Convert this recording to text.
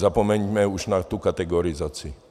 Zapomeňme už na tu kategorizaci.